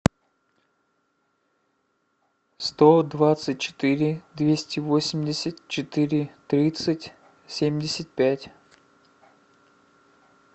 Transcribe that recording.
сто двадцать четыре двести восемьдесят четыре тридцать семьдесят пять